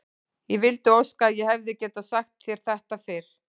Ég vildi óska að ég hefði getað sagt þér þetta fyrr.